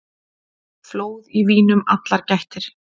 Flóð í vínum allar gættir.